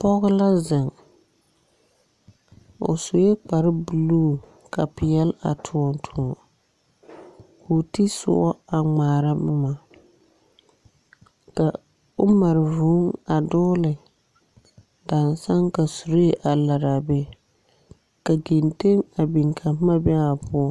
Pͻge la zeŋ, o sue kpare buluu ka peԑle a tõͻ tõͻ, koo te sõͻ a ŋmaara boma, ka o mare vũũ a dͻgele dansane ka suree a laraa a be ka genteŋ a biŋ ka boma a be a o poͻŋ.